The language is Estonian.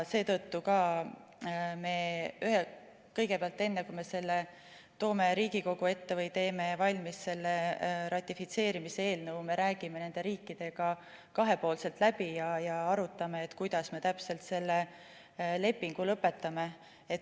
Seetõttu kõigepealt, enne kui me selle toome Riigikogu ette või teeme valmis ratifitseerimise eelnõu, me räägime nende riikidega kahepoolselt läbi ja arutame, kuidas me täpselt selle lepingu lõpetame.